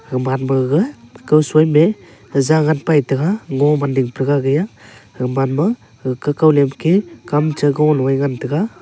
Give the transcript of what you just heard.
haman gaga kawsoi me zyagan paitaiga ngao man ding praga agaiya gaman ma hakeka lemke kamcha goloe ngan taiga.